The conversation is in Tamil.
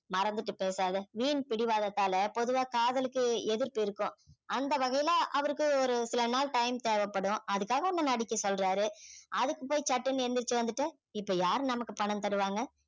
மறந்துட்டு பேசாத வீண் பிடிவாதத்தால பொதுவா காதலுக்கு எதிர்ப்பு இருக்கும் அந்த வகையில அவருக்கு ஒரு சில நாள் time தேவைப்படும் அதுக்காக உன்ன நடிக்க சொல்றாரு அதுக்கு போய் சட்டுனு எழுந்திருச்சு வந்துட்ட இப்ப யாரு நமக்கு பணம் தருவாங்க